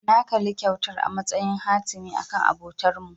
Na kalli kyautar a matsayin hatimi akan abotarmu.